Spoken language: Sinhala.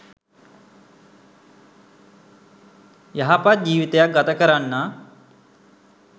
යහපත් ජීවිතයක් ගත කරන්නා